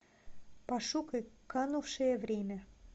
пошукай канувшее время